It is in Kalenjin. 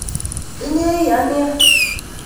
Inye iya nia